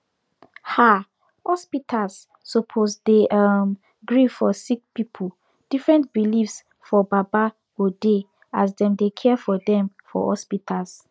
ah hospitas suppos dey erm gree for sicki pipu different beliefs for baba godey as dem dey care for dem for hospitas